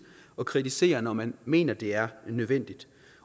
og kritisere når man mener det er nødvendigt